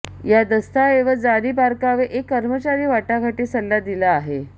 या दस्तऐवज जारी बारकावे एक कर्मचारी वाटाघाटी सल्ला दिला आहे